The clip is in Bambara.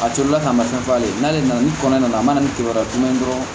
A tolila ka mafɛn f'a ye n'ale nana n'o kɔnɔna na a mana ni kibaruya tuman ye dɔrɔn